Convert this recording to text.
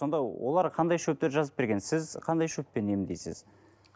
сонда олар қандай шөптер жазып берген сіз қандай шөппен емдейсіз